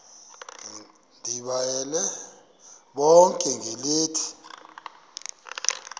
ndibayale bonke ngelithi